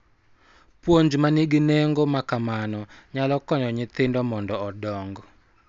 Puonj ma nigi nengo ma kamano nyalo konyo nyithindo mondo odong�